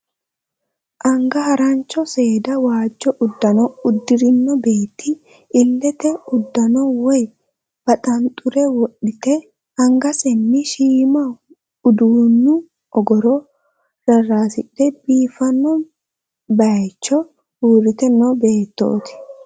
Anga harancho seeda waajjo uddano uddi'rino beetto illete uddano woy baxaanxure wodhite angasenni shiima uduunnu ogoro rarraasidhe biifino baayicho uurrite noo beettooti.